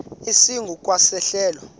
esingu kwa sehlelo